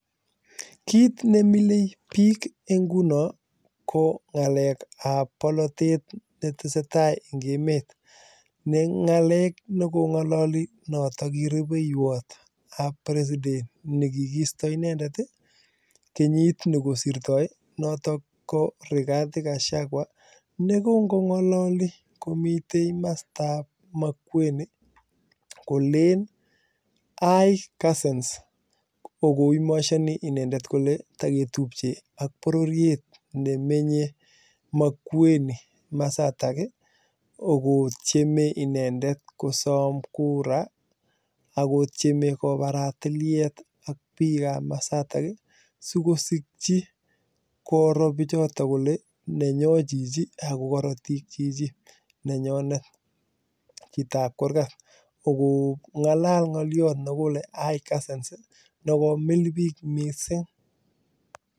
Kit nemilei biik inguno ko ng'alek ab bolotet netesetai en emet, ne ng'alek neng'olole noton nekirubeywot ab president nekigisto inendet kenyit nekosirto noton ko Rigathi gachagua negonkong'ololi komiten komostab Makueni kolelen hi cousins kokoimonishoni inendet kole togetubche ak bororiet nemenye Mkueni komosatak kogotyeme inendet kosom [cs[kura akotyeme kobaraa tiliet ak bikab komasatak ii sikosikyi koroo bichatak kole nenyon chichi ako korotik chichi nenyonet, chitab kurgat kokong'alal ng'olyot nekile hi cousins nekomil biik missing.